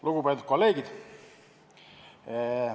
Lugupeetud kolleegid!